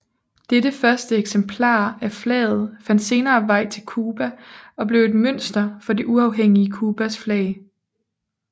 Dette første eksemplar af flaget fandt senere vej til Cuba og blev et mønster for det uafhængige Cubas flag